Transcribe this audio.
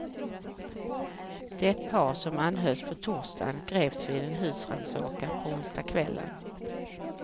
Det par som anhölls på torsdagen greps vid en husrannsakan på onsdagskvällen.